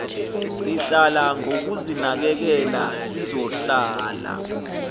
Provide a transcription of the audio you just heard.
sihlala ngokuzinakekela sizohlala